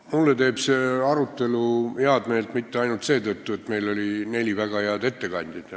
Mulle teeb see arutelu head meelt mitte ainult seetõttu, et siin oli neli väga head ettekandjat.